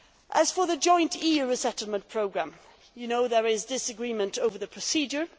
As for the joint EU resettlement programme, there is disagreement over the procedure.